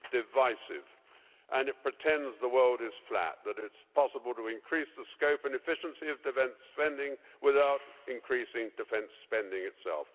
It's divisive and it pretends the world is flat that it's possible to increase the scope and efficiency of defence spending without increasing defence spending itself.